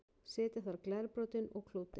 setja þarf glerbrotin og klútinn